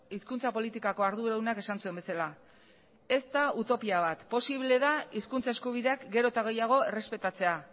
hizkuntza politikako arduradunak esan zuen bezala ez da utopia bat posible da hizkuntza eskubideak gero eta gehiago errespetatzea